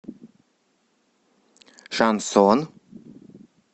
шансон